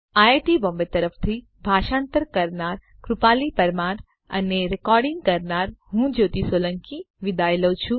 IIT Bombay તરફથી ભાષાંતર કરનાર હું કૃપાલી પરમાર વિદાય લઉં છું